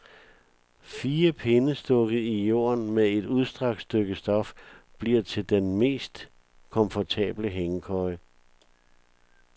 Fire pinde stukket i jorden med et udstrakt stykke stof bliver til den mest komfortable hængekøje.